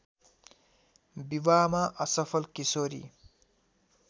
विवाहमा असफल किशोरी